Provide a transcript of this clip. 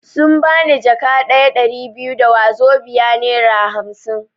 Sun bani jaka ɗaya (Ɗari biyu) da wazobia (nera hamsin)